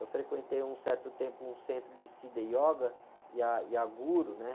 Eu frequentei um certo tempo um centro de Siddha Yoga e a, e a guru, né?